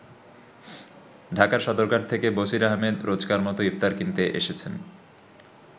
ঢাকার সদরঘাট থেকে বসির আহমেদ রোজকার-মত ইফতার কিনতে এসেছেন।